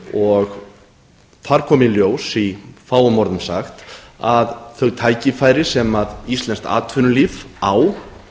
þar kom í ljós í fáum orðum sagt að það tækifæri sem íslenskt atvinnulíf á